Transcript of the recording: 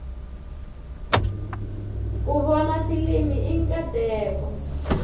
ku vona filimi i nkateko